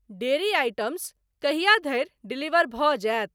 Dairy items कहिया धरि deliver भऽ जायत?